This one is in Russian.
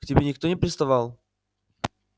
к тебе никто не приставал